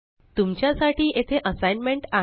तुमच्या साठी येथे असाइनमेंट आहे